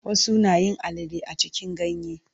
Wasu nayin alale a cikin ganye.